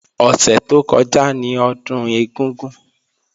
Ọ̀sẹ̀ tó kọjá ni Ọdún ẹ̀gúngún